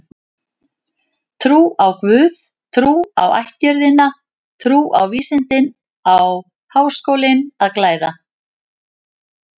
Trú á guð, trú á ættjörðina, trú á vísindin á Háskólinn að glæða.